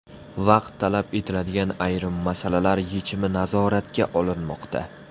Vaqt talab etiladigan ayrim masalalar yechimi nazoratga olinmoqda.